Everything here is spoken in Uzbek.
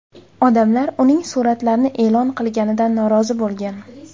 Odamlar uning suratlarni e’lon qilganidan norozi bo‘lgan.